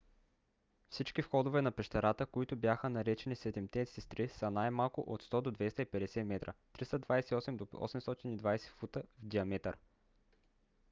всички входове на пещерата които бяха наречени седемте сестри са най-малко от 100 до 250 метра 328 до 820 фута в диаметър